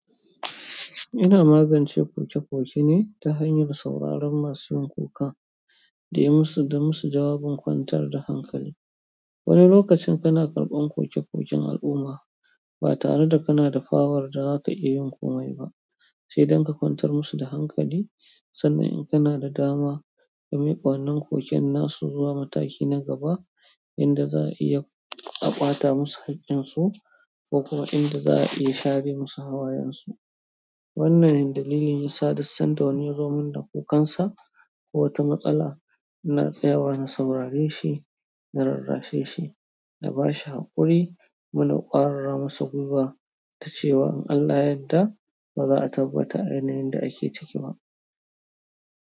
Ina magance koke-koke ne ta hanyar sauraron masu yin kuka da yi musu, da musu jawabin kwantar da hankali. Wani lokacin kana karɓan koke-koken al'umma ba tare da kana da pawar da za ka iya yin komai ba, sai dan ka kwantar musu da hankali sannan in kana da dama ka miƙa wannan koken nasu zuwa mataki na gaba inda za a iya a ƙwata musu haƙƙinsu ko kuma inda za a iya share musu hawayensu. Wannan dalilin yasa duk san da wani ya zo min da kukansa, ko wata matsala ina tsayawa na saurare shi, na rarrashe shi, na ba shi haƙuri, kuma na ƙwarara masa guiwa da cewa in Allah ya yarda. Ba za a tabbata a yanayin da ake ciki ba.